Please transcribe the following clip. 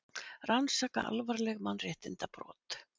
Rannsaka alvarleg mannréttindabrot